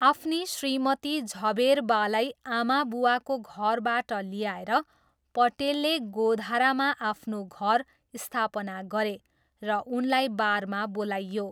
आफ्नी श्रीमती झभेरबालाई आमाबुवाको घरबाट ल्याएर, पटेलले गोधरामा आफ्नो घर स्थापना गरे र उनलाई बारमा बोलाइयो।